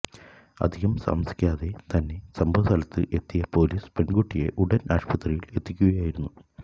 അധികം താമസിയാതെ തന്നെ സംഭവസ്ഥലത്ത് എത്തിയ പൊലീസ് പെൺകുട്ടിയെ ഉടൻ ആശുപത്രിയിൽ എത്തിക്കുകയായിരുന്നു